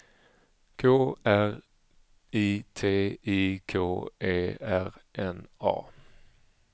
K R I T I K E R N A